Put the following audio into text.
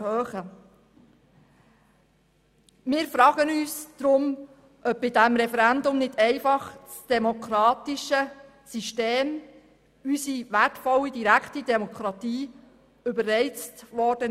Daher fragen wir uns, ob bei diesem Referendum unsere wertvolle direkte Demokratie nicht einfach überreizt wurde.